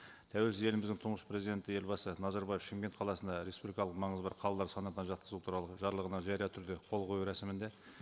тәуелсіз еліміздің тұңғыш президенті елбасы назарбаев шымкент қаласына республикалық маңызы бар қалалар санатына жатқызу туралы жарлығына жария түрде қол қою рәсімінде